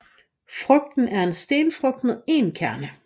Frugten er en stenfrugt med én kerne